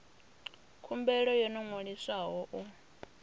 khumbelo yo no ṅwaliswaho u